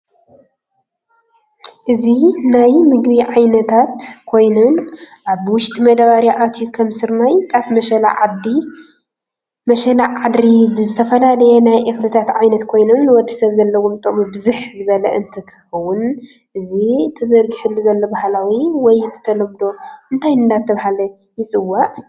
እዚ ናይ ምግብ ዓነታት ኮይን ኣብ ውሽጢ መዳበርያ ኣትዩ ከም ስርናይ ፣ጣፍ፣ መሸላ ዓድሪ ፣ዝተፈላላዩ ናይ እክሊታት ዓይነት ኮይኖም ንወድሰብ ዘለዎም ጥቅሚብዝሕ ዝበለ እንትከከን እዚ ተዘርግሕሉ ዘሉ በህላዊ ወይ ብተለምዶ እንታይ እደተበሃለ ይፅዋዕ?